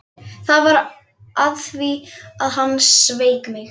Það var af því að hann sveik mig.